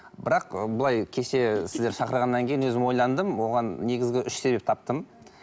бірақ былай кеше сіздер шақырғаннан кейін өзім ойландым оған негізгі үш себеп таптым